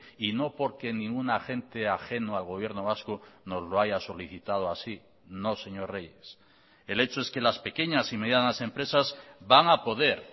y no porque ningún agente ajeno al gobierno vasco nos lo haya solicitado así no señor reyes el hecho es que las pequeñas y medianas empresas van a poder